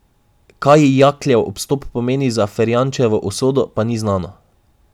Kaj Jakljev odstop pomeni za Ferjančevo usodo, pa ni znano.